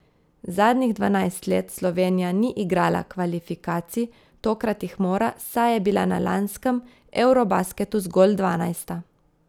Zadnjih dvanajst let Slovenija ni igrala kvalifikacij, tokrat jih mora, saj je bila na lanskem eurobasketu zgolj dvanajsta.